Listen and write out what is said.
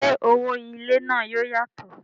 ṣé owó ilé náà yóò yàtọ̀?